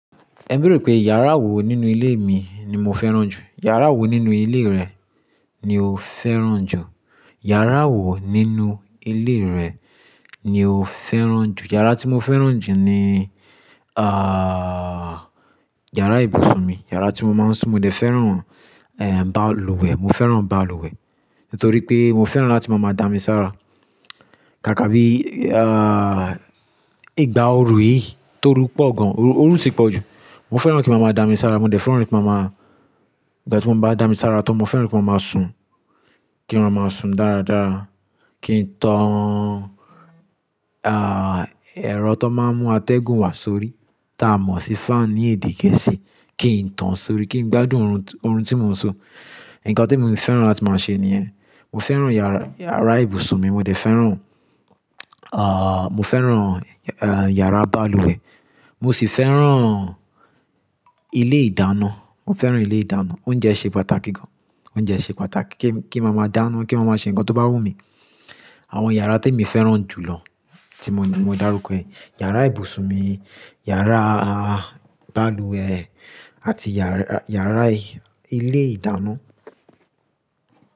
Ẹ bère pé yàrá wo nínú ilé mi ni mo fẹ́ràn jù? Yàrá wo nínú ilé rẹ, ni o fẹ́ràn jù? Yàrá wo nínú ilé rẹ ni o fẹ́ràn jù? Yàrá tí mo fẹ́ràn jù ni, ah, yàrá ibùsùn mi. Yàrá tí mo máa ń sùn, mo dé fẹ́ràn, eh, báàlùwẹ̀, mo fẹ́ràn báàlùwẹ̀. Nítorí pé mo fẹ́ràn láti máa máa dá mi sára Kàkà bí, ah, ìgbà oru yìí tó ru pọ̀ gan, oru ti pọ̀ jù. Mo fẹ́ràn kí màmá dá mi sára, mo dé fẹ́ràn kí màmá, ìgbà tí mo bá dá mi sára tan, mo fẹ́ràn kí màmá máa sùn. Kí wọ́n máa sùn dáradára. Kí n tán, ah, ẹ̀rọ tó máa ń mú atẹ́gùn wá sórí ta mọ̀ sí fan ní èdè gẹ̀ẹ́sì. Kí n tán sórí, kí n gbádùn orun tí mo ń sùn. Ǹkan tí mo fẹ́ràn láti máa ṣe nìyẹn. Mo fẹ́ràn yàrá, yàrá ibùsùn mi, mo dé fẹ́ràn, ah, mo fẹ́ràn, ah, yàrá báàlùwẹ̀. Mo sì fẹ́ràn ilé ìdáná, mo fẹ́ràn ilé ìdáná. Oúnjẹ ṣe pàtàkì gan. Oúnjẹ ṣe pàtàkì ke mi, kí màmá dáná, kí màmá ṣe ǹkan tó bá wù mí. Àwọn yàrá tí emi fẹ́ràn jù lọ, tí mo darúkọ ni yàrá ibùsùn mi, yàrá báàlùwẹ̀ àti yàrá ilé ìdáná.